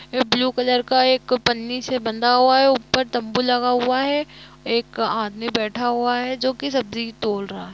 एक blue colour का एक पन्नी से बांदा हुआ हे ऊपर तंबू लगा हुआ है एक आदमी बैठा हुआ है जो की सब्जी तोल रहा है ।